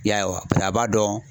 I y'a ye wa paseke a b'a dɔn